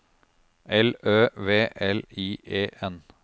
L Ø V L I E N